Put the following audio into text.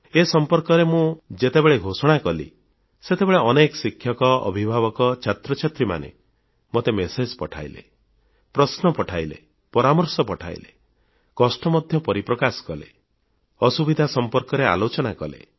ଏ ସଂପର୍କରେ ମୁଁ ଯେତେବେଳେ ଘୋଷଣା କଲି ସେତେବେଳେ ଅନେକ ଶିକ୍ଷକ ଅଭିଭାବକ ଛାତ୍ରଛାତ୍ରୀମାନେ ମୋତେ ସନ୍ଦେଶMessage ପଠାଇଲେ ପ୍ରଶ୍ନ ପଠାଇଲେ ପରାମର୍ଶ ଦେଲେ କଷ୍ଟ ମଧ୍ୟ ପରିପ୍ରକାଶ କଲେ ଅସୁବିଧା ସମ୍ପର୍କରେ ଆଲୋଚନା କଲେ